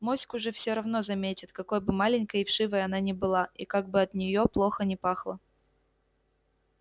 моську же все равно заметят какой бы маленькой и вшивой она ни была и как бы от неё плохо ни пахло